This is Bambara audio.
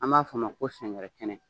An b'a fɔ a ma ko sɛnkɛrɛn kɛnɛ